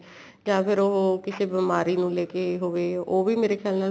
ਜਾਂ ਫੇਰ ਉਹ ਕਿਸੇ ਬਿਮਾਰੀ ਨੂੰ ਲੈ ਕੇ ਹੋਵੇ ਉਹ ਵੀ ਮੇਰੇ ਖਿਆਲ ਨਾਲ